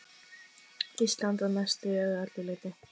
Ísland að mestu eða öllu leyti.